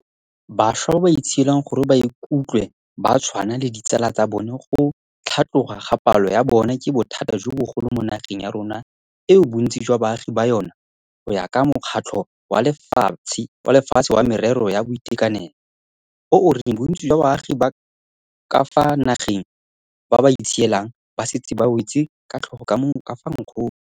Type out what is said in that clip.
Bašwa ba ba itshielang gore ba ikutlwe ba tshwana le ditsala tsa bona go tlhatloga ga palo ya bona ke bothata jo bogolo mo nageng ya rona eo bontsi jwa baagi ba yona, go ya ka Mokgatlho wa Lefatshe wa Merero ya Boitekanelo, o o reng bontsi jwa baagi ba ka fa nageng ba ba itshielang ba setse ba wetse ka tlhogo ka fa nkgong.